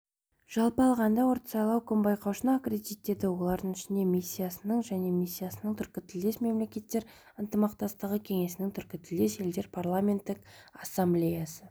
жалпы алғанда ортсайлауком байқаушыны аккредиттеді олардың ішінде миссиясының және миссиясының түркітілдес мемлекеттер ынтымақтастығы кеңесінің түркітілдес елдердің парламенттік ассамблеясының